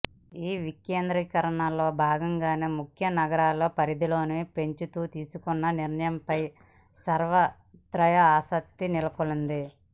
ఈ వికేంద్రీకరణలో భాగంగానే ముఖ్య నగరాల పరిధిని పెంచుతూ తీసుకున్న నిర్ణయంపై సర్వత్రా ఆసక్తి నెలకొంది